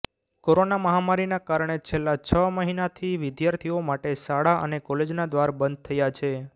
corona મહામારીના કારણે છેલ્લા છ મહિનાથી વિદ્યાર્થીઓ માટે શાળા અને કોલેજોના દ્વાર બંધ થયા છે